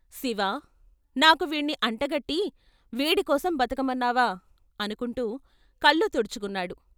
" శివా, నాకు వీణ్ణి అంటగట్టి వీడికోసం బతకమన్నావా " అనుకుంటూ కళ్ళు తుడుచు కున్నాడు.